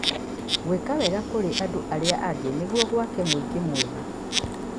Gwĩka wega kũrĩ andũ arĩa angĩ nĩguo gwake mũingĩ mwega.